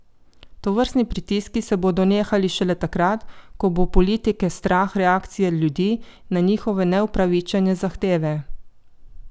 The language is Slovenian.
Tovrstni pritiski se bodo nehali šele takrat, ko bo politike strah reakcije ljudi na njihove neupravičene zahteve.